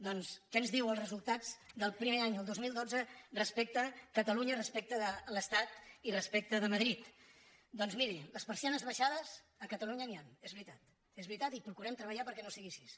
doncs què ens diuen els resultats del primer any el dos mil dotze respecte de catalunya respecte de l’estat i respecte de madrid doncs miri de persianes abaixades a catalunya n’hi han és veritat és veritat i procurem treballar perquè no sigui així